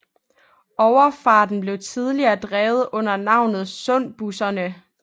Overfarten blev tidligere drevet under navnet Sundbusserne